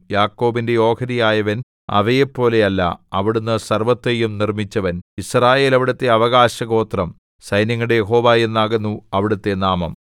യാക്കോബിന്റെ ഓഹരിയായവൻ അവയെപ്പോലെയല്ല അവിടുന്ന് സർവ്വത്തെയും നിർമ്മിച്ചവൻ യിസ്രായേൽ അവിടുത്തെ അവകാശഗോത്രം സൈന്യങ്ങളുടെ യഹോവ എന്നാകുന്നു അവിടുത്തെ നാമം